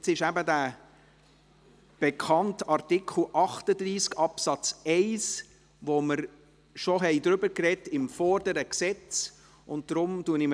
Hier ist der bekannte Artikel 38 Absatz 1, über den wir beim vorherigen Gesetz bereits gesprochen haben.